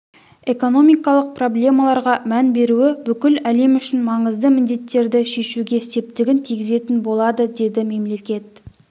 экономикалық проблемаларға мән беруі бүкіл әлем үшін маңызды міндеттерді шешуге септігін тигізетін болады деді мемлекет